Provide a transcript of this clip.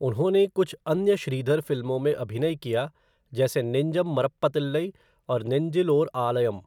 उन्होंने कुछ अन्य श्रीधर फिल्मों में अभिनय किया जैसे नेंजम मरप्पातिल्लई और नेन्जिल ओर आलयम।